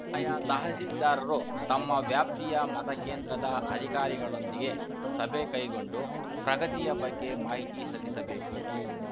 ಆಯಾ ತಹಸೀಲ್ದಾರರು ತಮ್ಮ ವ್ಯಾಪ್ತಿಯ ಮತಕೇಂದ್ರದ ಅಧಿಕಾರಿಗಳೊಂದಿಗೆ ಸಭೆ ಕೈಗೊಂಡು ಪ್ರಗತಿಯ ಬಗ್ಗೆ ಮಾಹಿತಿ ಸಲ್ಲಿಸಬೇಕು